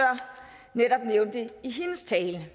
netop nævnte i sin tale